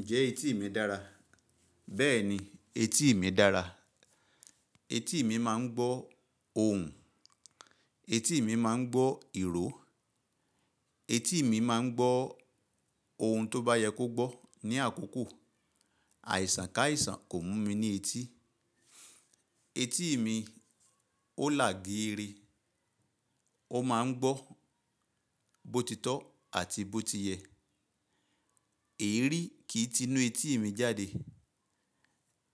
Ǹjẹ́ etí mi dára? Bẹ́ẹ̀ni, etí mi dára. Etí mi máa ń gbọ́ ohùn, etí mi máa ń gbọ́ ìró, etí mi máa ń gbọ́ ohun tó bá yẹ kó gbọ́ ní àkókò. Àìsàn ká àìsàn kò mú mi ní etí. Etí mi ó là geere, ó máa ń gbọ́ bòtítọ́ àti bòtiyẹ̀. Èérí kì í ti inú etí mi jáde,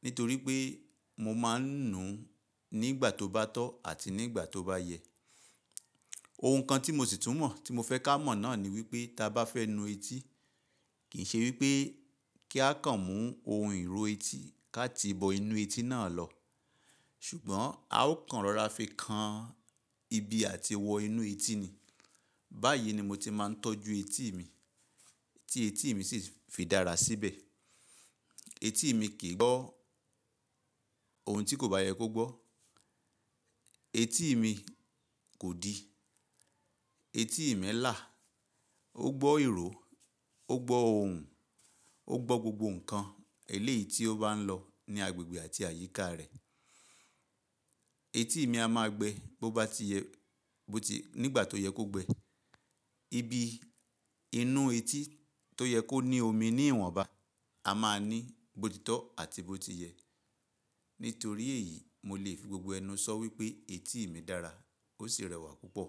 nítorí pé mo máa ń nùú nígbà tó bá tọ́ àti nígbà tó bá yẹ. Ohun kan tí mo sì tún mọ̀ tí mo fẹ́ ká mọ̀ náà ni wípé tí a bá fẹ́ nu etí, kì í ṣe wípé kí á kàn mú ohun ìró etí ká ti bo inú etí náà lọ, ṣùgbọ́n a ó kàn rọra fi kan ibi àti wọ inú etí ni. Báyìí ni mo ti máa ń tọ́jú etí mi, tí etí mi sì fi dára síbẹ̀. Etí mi kì í gbọ́ ohun tí kò bá yẹ kó gbọ́. Etí mi kò di. Etí mi là, ó gbọ́ ìró, ó gbọ́ ohùn, ó gbọ́ gbogbo ǹkan eléyìí tí ó bá ń lọ ní agbègbè àti àyíká rẹ̀. Etí mi a máa gbẹ bó bá ti yẹ, bó ti-- nígbà tó yẹ kó gbẹ. Ibi inú etí tó yẹ kó ní omi ní ìwọ̀n bá, a máa ní bòtítọ́ àti bòtiyẹ. Nítorí èyí, mo lè fi gbogbo ẹnu sọ wípé etí mi dára ó sì rẹwà púpọ̀.